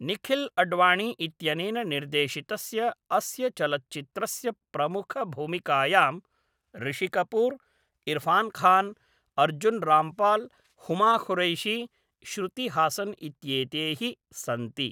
निखिल् अड्वाणी इत्यनेन निर्देशितस्य अस्य चलच्चित्रस्य प्रमुखभूमिकायाम् ऋषि कपूर्, इर्फ़ान् खान्, अर्जुन् राम्पाल्, हुमा कुरैशी, श्रुति हासन् इत्येते हि सन्ति।